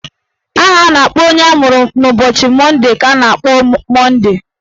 Aha a na-akpọ onye amụrụ n'ụbọchị Monde ka a na-akpọ Monde.